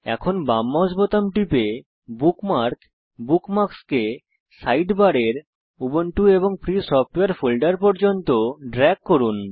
এখন বাম মাউস বোতাম টিপে বুকমার্ক বুকমার্কস সাইডবারের উবুন্টু এন্ড ফ্রি সফটওয়ারে ফোল্ডার পর্যন্ত ড্রেগ করুন